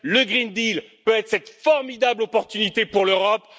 Le pacte vert peut être cette formidable opportunité pour l'Europe.